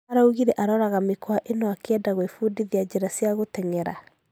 Araugire aroraga mĩkwa ĩno akĩeda gwĩfudithia njĩra coa gũtengera.